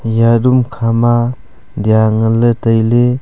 eya room khama lya ngan ley tailey.